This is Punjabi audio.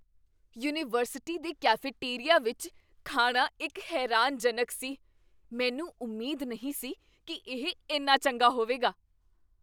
ਯੂਨੀਵਰਸਿਟੀ ਦੇ ਕੈਫੇਟੇਰੀਆ ਵਿੱਚ ਖਾਣਾ ਇੱਕ ਹੈਰਾਨਜਨਕ ਸੀ। ਮੈਨੂੰ ਉਮੀਦ ਨਹੀਂ ਸੀ ਕੀ ਇਹ ਇੰਨਾ ਚੰਗਾ ਹੋਵੇਗਾ।